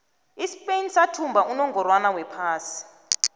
ispain sathumba unongorwond wephasi